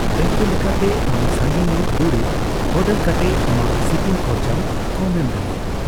ᱫᱟᱹᱭᱠᱟᱹ ᱞᱮᱠᱟᱛᱮ ᱟᱢ ᱥᱟᱸᱜᱮ ᱧᱚᱜ ᱫᱩᱨᱤᱵ ᱚᱨᱰᱟᱨ ᱠᱟᱛᱮ ᱟᱢᱟᱜ ᱥᱤᱯᱤᱝ ᱠᱷᱚᱨᱪᱟᱢ ᱠᱚᱢ ᱮᱢ ᱫᱟᱲᱮᱭᱟᱜᱼᱟ ᱾